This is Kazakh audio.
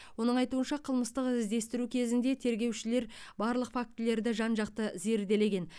оның айтуынша қылмыстық іздестіру кезінде тергеушілер барлық фактілерді жан жақты зерделеген